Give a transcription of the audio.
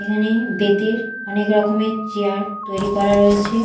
এখানে বেতের অনেক রকমের চেয়ার তৈরি করা রয়েছে।